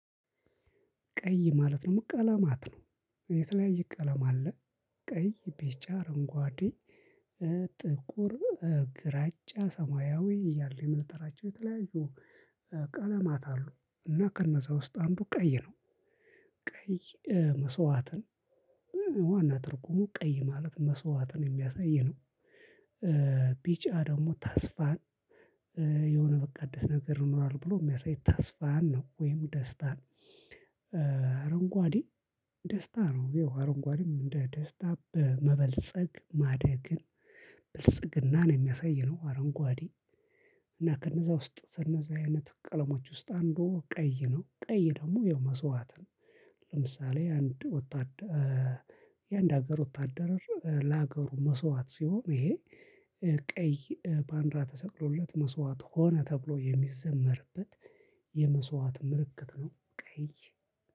ቀይ ማለት ነው። ቀለማት ነው የተለያየ ቀለማ አለ። ቀይ ቢጫ አረንጓዴ ጥቁር ግራጫ ሰማያዊ እያለ የመለጠራቸው የተለያዩ ቀለማት አሉ። እና ከነዛ ውስጥ አንዱ ቀይ ነው። ቀይ መስዋዕትን ዋና ትርጉሙ ቀይ ማለት መስዋዕትን የሚያሳይ ነው። ቢጫ ደግሞ ተስፋን የሆነ በቃ ደስ ነገር ይኖራል ብሎ የሚያሳይ ተስፋን ነው ወይም ደስታን። አረንጓዴ ደስታ ነው ይሄው አረንጓዴም እንደ ደስታ በመበልጸግ ብልጽግናን የሚያሳይ ነው። አረንጓዴ እና ከነዛ ውስጥ ስነዛ አይነት ቀለሞች ውስጥ አንዱ ቀይ ነው ቀይ ደግሞ የመስዋዕት ነው። ለምሳሌ አንድ ወታደ የአንድ ሀገር ወታደር ለሀገሩ መስዋዕት ሲሆን ይሄ ቀይ ፓንድራ ተሰቅሎለት መስዋዕት ሆነ ተብሎ የሚዘመርበት የመስዋዕት ምልክት ነው። ቀይ